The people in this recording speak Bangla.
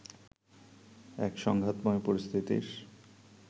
এক সংঘাতময় পরিস্থিতির